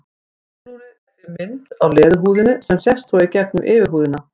Húðflúrið er því mynd á leðurhúðinni sem sést svo í gegnum yfirhúðina.